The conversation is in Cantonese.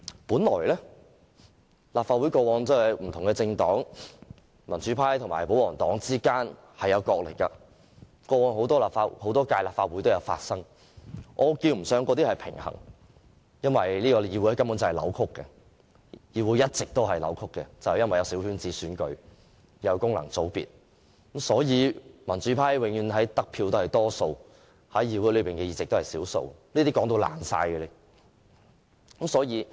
本來立法會內民主派和保皇黨之間角力，過往很多屆立法會也有發生，那稱不上是平衡，因為這個議會根本一直是扭曲的，有功能界別的小圈子選舉，民主派得票永遠是多數，但在議會裏的議席卻是少數，這情況已經說了很多次。